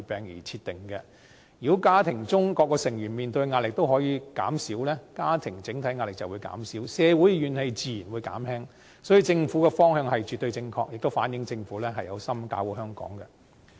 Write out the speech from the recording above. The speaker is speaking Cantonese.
如果家庭中各個成員面對的壓力都可以減輕，家庭整體壓力便會減輕，社會怨氣自然會減輕，所以政府的方向絕對正確，亦反映政府有心搞好香港。